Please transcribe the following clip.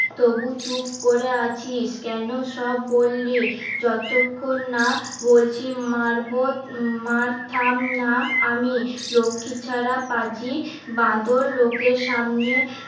তবু চুপ করে আছিস কেন সব বললি? যতক্ষণ না বলছি মারবো মার থাম না আমি লক্ষীছাড়া পাজি বাঁদর লোকের সামনে